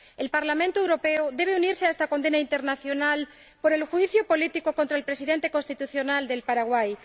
El Parlamento Europeo debe unirse a esta condena internacional por el juicio político contra el Presidente constitucional de Paraguay.